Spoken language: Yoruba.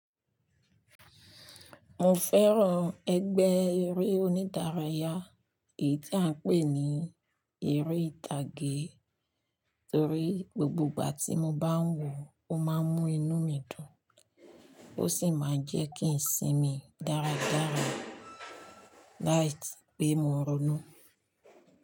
Mo fẹ́ràn ẹgbẹ́ eré onídárayá èyí tí à ń pè ní eré ìtàgé torí gbogbo ìgbà tí mo bá ń wò ó máa ń mú inú mi dùn ó sì máa ń jẹ́ kí n sinmi dáradára láìsí pé mo ronú.